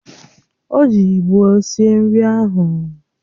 O ji ịgbo sie nri ahụ